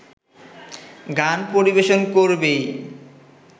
গান পরিবেশন করবেই